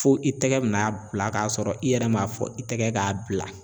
Fo i tɛgɛ bina a bila k'a sɔrɔ i yɛrɛ m'a fɔ i tɛgɛ k'a bila